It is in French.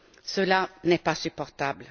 Cela n'est pas supportable.